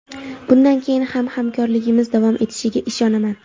Bundan keyin ham hamkorligimiz davom etishiga ishonaman.